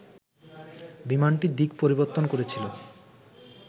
বিমানটি দিক পরিবর্তন করেছিল